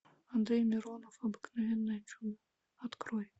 андрей миронов обыкновенное чудо открой